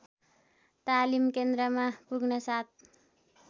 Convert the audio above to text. तालिम केन्द्रमा पुग्नासाथ